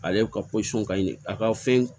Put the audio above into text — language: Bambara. Ale ka ka ɲi a ka fɛn